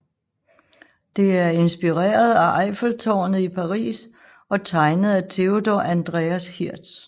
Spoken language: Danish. Det er inspireret af Eiffeltårnet i Paris og tegnet af Theodor Andreas Hirth